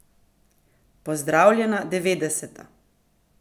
Pozdravljena devetdeseta!